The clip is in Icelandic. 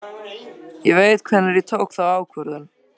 Ég veit hvenær ég tók þá ákvörðun.